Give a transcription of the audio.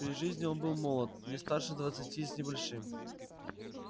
при жизни он был молод не старше двадцати с небольшим